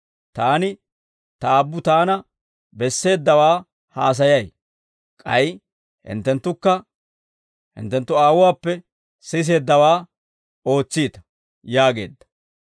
Taani Ta Aabbu Taana besseeddawaa haasayay; k'ay hinttenttukka hinttenttu aawuwaappe siseeddawaa ootsiita» yaageedda.